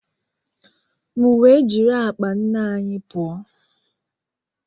m wee jiri akpa nne anyi pụọ